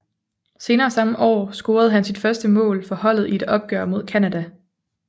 Senere samme år scorede han sit første mål for holdet i et opgør mod Canada